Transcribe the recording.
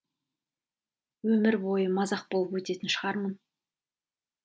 өмір бойы мазақ болып өтетін шығармын